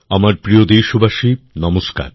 আমার প্রিয় দেশবাসী নমস্কার